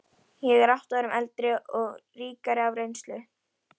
Eins og það hefði nokkru sinni að henni flögrað.